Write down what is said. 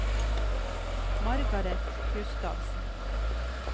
Margareth Gustavsen